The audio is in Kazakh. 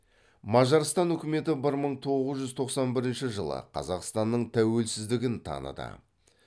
мажарстан үкіметі бір мың тоғыз жүз тоқсан бірінші жылы қазақстанның тәуелсіздігін таныды